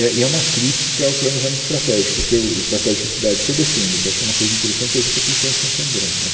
É e é uma crítica ao planejamento estratégico que eu estratégico de cidade que eu defendo, que eu acho uma coisa interessante e a gente aplicou em Santo André né.